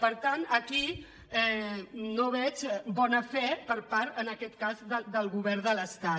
per tant aquí no veig bona fe per part en aquest cas del govern de l’estat